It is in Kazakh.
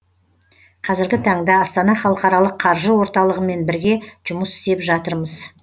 қазіргі таңда астана халықаралық қаржы орталығымен бірге жұмыс істеп жатырмыз